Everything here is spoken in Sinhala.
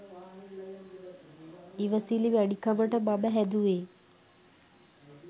ඉවසිලි වැඩි කමට මම හැදුවේ